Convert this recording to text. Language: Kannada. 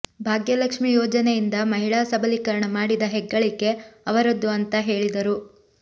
ಭಾಗ್ಯಲಕ್ಷ್ಮಿ ಯೋಜನೆಯಿಂದ ಮಹಿಳಾ ಸಬಲಿಕರಣ ಮಾಡಿದ ಹೆಗ್ಗಳಿಕೆ ಅವರದ್ದು ಅಂತಾ ಹೇಳಿದರು